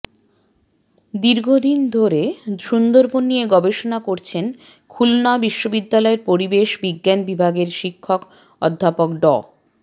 দীর্ঘদিন ধরে সুন্দরবন নিয়ে গবেষণা করছেন খুলনা বিশ্ববিদ্যালয়ের পরিবেশ বিজ্ঞান বিভাগের শিক্ষক অধ্যাপক ড